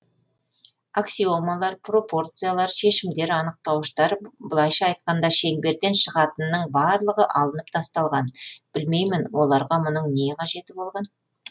аксиомалар пропорциялар шешімдер анықтауыштар былайша айтқанда шеңберден шығатынның барлығы алынып тасталған білмеймін оларға мұның не қажеті болған